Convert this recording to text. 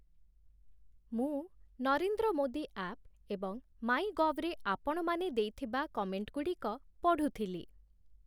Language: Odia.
ମୁଁ 'ନରେନ୍ଦ୍ର ମୋଦୀ ଆପ୍' ଏବଂ 'ମାଇଁ ଗଭ୍' ରେ ଆପଣମାନେ ଦେଇଥିବା କମେଣ୍ଟଗୁଡ଼ିକ ପଢ଼ୁଥିଲି ।